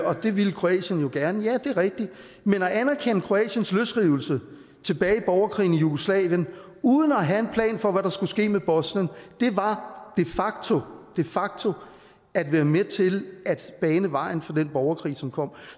og det ville kroatien jo gerne ja det er rigtigt men at anerkende kroatiens løsrivelse tilbage i borgerkrigen i jugoslavien uden at have en plan for hvad der skulle ske med bosnien var de facto at være med til at bane vejen for den borgerkrig som kom